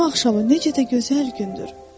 Bu Cümə axşamı necə də gözəl gündür.